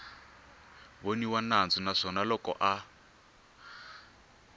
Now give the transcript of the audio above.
voniwa nandzu naswona loko a